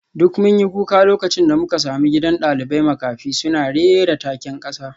Duk mun yi kuka lokacin da muka sami gidan dalibai makafi suna rera taken kasa